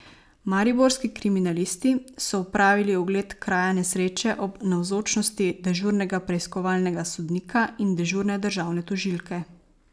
Mariborski kriminalisti so opravili ogled kraja nesreče ob navzočnosti dežurnega preiskovalnega sodnika in dežurne državne tožilke.